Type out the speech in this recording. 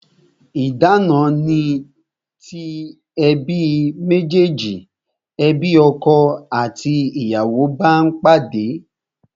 Idana ni ti ebi mejeji, ebi ọkọ àti ìyàwó bá pàdé